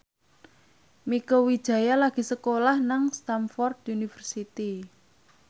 Mieke Wijaya lagi sekolah nang Stamford University